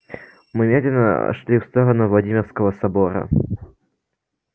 мы медленно шли в сторону владимирского собора